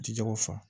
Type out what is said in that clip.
Ji jɛgɛw fa